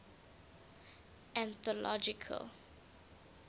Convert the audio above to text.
anthological